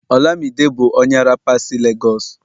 olamide bu onye rapa si Lagos